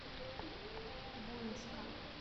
буинска